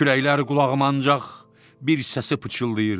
Kürəklər qulağıma ancaq bir səsi pıçıldayırdı.